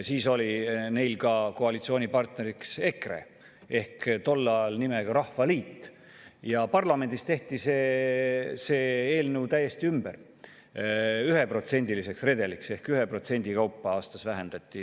Siis oli neil ka koalitsioonipartneriks EKRE, tol ajal nimega Rahvaliit, ja parlamendis tehti see eelnõu täiesti ümber 1%-liseks redeliks ehk 1% kaupa aastas vähendati.